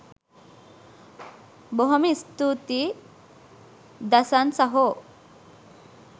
බොහොම ස්තූතියි දසන් සහෝ